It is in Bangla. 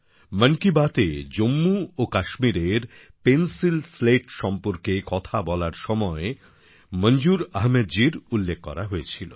মন কি বাতএ জম্মু ও কাশ্মীরের পেন্সিল স্লেট সম্পর্কে কথা বলার সময় মনজুর আহমেদজির উল্লেখ করা হয়েছিল